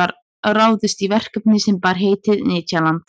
var ráðist í verkefni sem bar heitið nytjaland